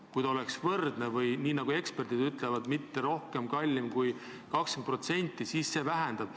Kui hinnad oleks võrdsed või nii nagu eksperdid ütlevad, meie viin poleks rohkem kallim kui 20%, siis piirikaubandus väheneks.